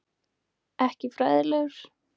Ekki fræðilegur.